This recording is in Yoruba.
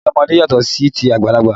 Síbi ọmọdé yàtọ̀ sí ti àgbàlagbà